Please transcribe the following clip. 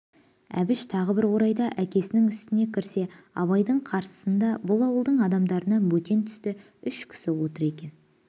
әбіш тағы бір орайда әкесінің үстіне кірсе абайдың қарсысында бұл ауылдың адамдарынан бөтен түсті үш кісі отыр екен